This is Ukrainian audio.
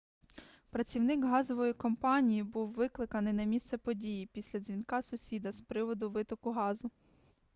працівник газової компанії був викликаний на місце події після дзвінка сусіда з приводу витоку газу